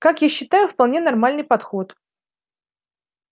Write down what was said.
как я считаю вполне нормальный подход